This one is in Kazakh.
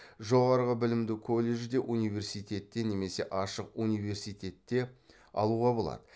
жоғары білімді колледжде университетте немесе ашық университетте алуға болады